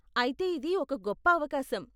అయితే ఇది ఒక గొప్ప అవకాశం.